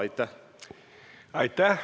Aitäh!